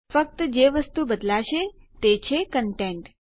ફક્ત જે વસ્તુ બદલાશે તે છે કંટેંટ